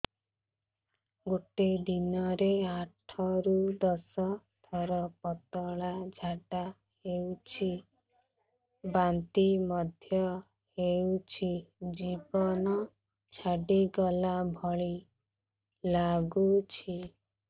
ଗୋଟେ ଦିନରେ ଆଠ ରୁ ଦଶ ଥର ପତଳା ଝାଡା ହେଉଛି ବାନ୍ତି ମଧ୍ୟ ହେଉଛି ଜୀବନ ଛାଡିଗଲା ଭଳି ଲଗୁଛି